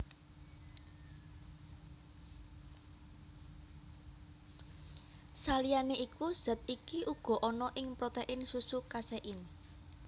Saliyané iku zat iki uga ana ing protéin susu kaséin